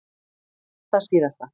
Og það síðasta.